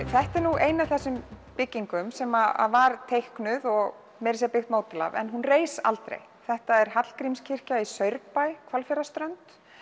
þetta er ein af þessum byggingum sem var teiknuð og meira að segja birt módel af en hún reis aldrei þetta er Hallgrímskirkja í Saurbæ Hvalfjarðarströnd